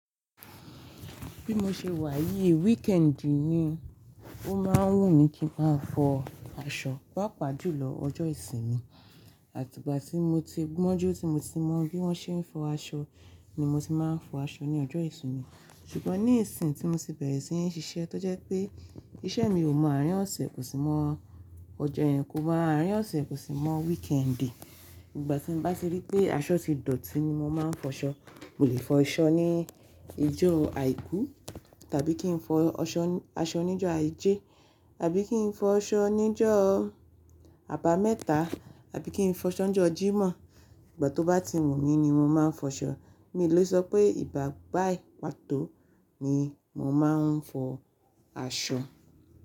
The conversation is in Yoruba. Bí mo ṣe wà yìí weekend ni ó máa ń wù mí kí n máa fọ aṣọ, pàápàá jùlọ ọjọ́ ìsinmi àti ìgbà tí mo ti gbọ́n jú tí mo ti mọ bí wọ́n ṣe ń fọ aṣọ ni mo ti máa ń fọ aṣọ ní ọjọ́ ìsinmi. Ṣùgbọ́n ní ìsìn tí mo ti bẹ̀rẹ̀ sí ń ṣiṣẹ́ tó jẹ́ pé iṣẹ́ mi ò mọ àárín ọ̀sẹ̀ kò sì mọ ọjọ́ yìí kò mọ àárín ọ̀sẹ̀ kò sì mọ weekend, ìgbà tí mo n bá tirí pé aṣọ ti dọ̀tí ni mo máa ń fọṣọ. Mo lè fọṣọ ní ijó àìkú tàbí kí n fọ aṣọ níjọ́ àíjẹ́ tàbí kí n fọ aṣọ níjọ́ àbámẹ́ta àbí kí n fọṣọ n jọ́ Jímọ̀. Ìgbà tó bá ti wù mí ni mo máa ń fọṣọ. Mi ò lè sọ pé ìgbá bàyi pàtó ni mo máa ń fọ aṣọ.